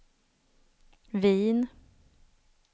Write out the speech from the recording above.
Wien